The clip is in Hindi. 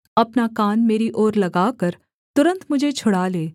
अपना कान मेरी ओर लगाकर तुरन्त मुझे छुड़ा ले